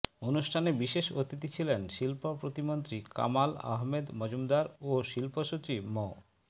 অনুষ্ঠানে বিশেষ অতিথি ছিলেন শিল্প প্রতিমন্ত্রী কামাল আহমেদ মজুমদার ও শিল্প সচিব মো